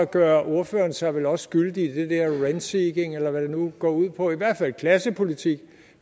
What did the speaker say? gør ordføreren sig vel også skyldig i det der rent seeking eller hvad det nu går ud på i hvert fald i klassepolitik